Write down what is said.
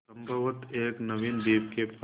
संभवत एक नवीन द्वीप के पास